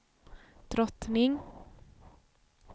drottning